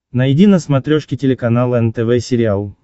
найди на смотрешке телеканал нтв сериал